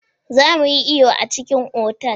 Za mu yi iyo a cikin otal.